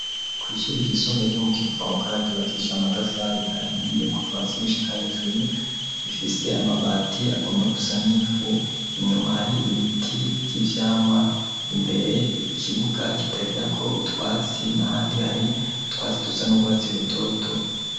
Kw'ishuri ry'isumbe ryo mu kivoga ryubakishija amatafari ahiye kuvasi gushika hejuru ifise amabati agomba gusa n'ifu inyuma hari ibiti by'ibyamwa imbere ikibuga kitagira ko utwatsi na handi hari utwatsi dusa n'ubwatsi rutoto.